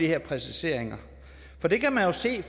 her præcisering for det kan man jo se